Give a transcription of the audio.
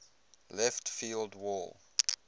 left field wall